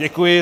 Děkuji.